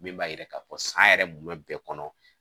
Min b'a yira k'a fɔ san yɛrɛ mun bɛ kɔnɔ